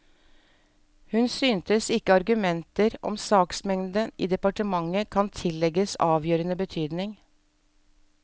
Hun synes ikke argumenter om saksmengden i departementet kan tillegges avgjørende betydning.